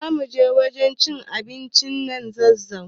Zamuje sabon wajen cin abincin nan zazu